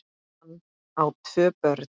Hann á tvö börn.